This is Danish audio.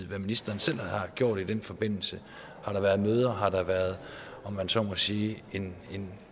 hvad ministeren selv har gjort i den forbindelse har der været møder har der været om man så må sige en en